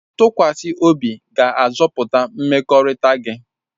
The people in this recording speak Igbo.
Ntụkwasị obi ga-azọpụta mmekọrịta gị.